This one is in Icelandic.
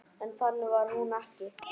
En þannig var hún ekki.